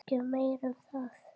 Ekki meira um það.